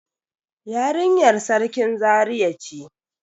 Yarinyar Sarkin Zaria ce.